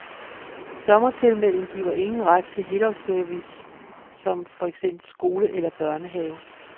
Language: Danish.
Sommertilmelding giver ingen ret til helårsservice som for eksempel skole eller børnehave.